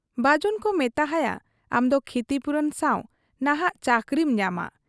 ᱵᱟᱹᱡᱩᱱᱠᱚ ᱢᱮᱛᱟᱦᱟᱭᱟ ᱟᱢᱫᱚ ᱠᱷᱤᱛᱤᱯᱩᱨᱚᱱ ᱥᱟᱶ ᱱᱷᱟᱜ ᱪᱟᱹᱠᱨᱤᱢ ᱧᱟᱢᱟ ᱾